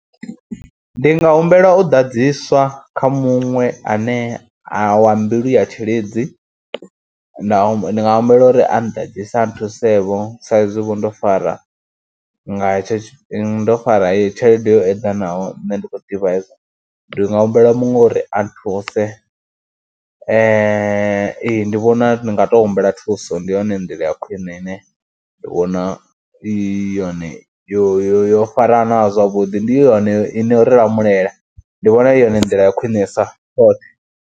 Ndi nga humbela u ḓadziswa kha muṅwe ane a wa mbilu ya tshilidzi, ndi nga ndi nga humbela uri a nnḓadzise, a nthusevho sa izwivho ndo fara nga hetsho, ndo fara tshelede yo eḓanaho. Nṋe ndi khou ḓivha, ndi nga humbela muṅwe uri a nthuse ee ndi vhona u nga ndi nga tou humbela thuso, ndi yone nḓila ya khwine ine ndi vhona i yone yo yo yo farana zwavhuḓi, ndi yone i no ri lamulela, ndi vhona uri ndila ya khwine sa tshoṱhe.